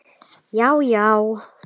Já já.